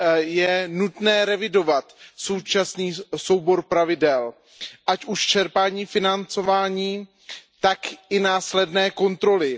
Je nutné revidovat současný soubor pravidel, ať už čerpání financování, tak i následné kontroly.